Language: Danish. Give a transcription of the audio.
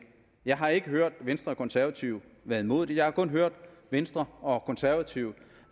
jeg har ikke hørt venstre og konservative være imod det jeg har kun hørt venstre og konservative